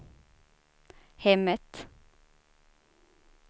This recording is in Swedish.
hemmet